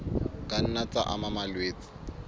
ka nna tsa ama malwetse